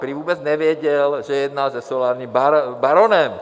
Prý vůbec nevěděl, že jedná se solárním baronem.